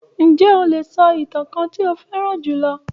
Ǹjẹ́ o lè sọ ìtàn kan tí ó fẹ́ràn jù lọ?